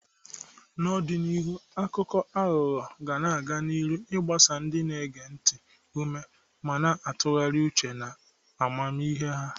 N'ọdịnihu, akụkọ aghụghọ ga-aga n'ihu na-agba ndị na-ege ntị ume ma na-atụgharị uche na amamihe ha.